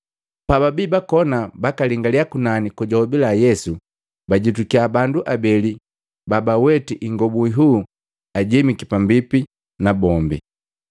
Pababi bakona bakalingaliya kunani kojahobila Yesu, bajitukiya bandu abeli babaweti ingobu nhuu ajemiki pambipi nabombi.